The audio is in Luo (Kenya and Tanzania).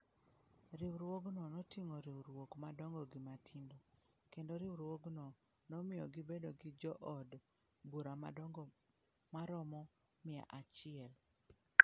Riwruogno noting'oriwruok madongo gi matindo, kendo riwruogno nomiyo gibedo gi jood bura madongo maromo mia achiel.